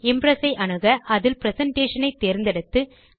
Impress ஐ அணுக இதில் பிரசன்டேஷன் ஐ தேர்ந்தெடுத்து